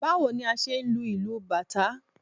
Báwo ni a ṣe ń lu ìlù bàtá?